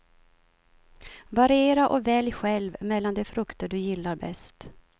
Variera och välj själv mellan de frukter du gillar bäst.